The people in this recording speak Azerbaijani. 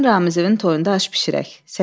Səninlə Ramizəvin toyunda aş bişirək.